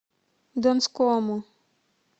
донскому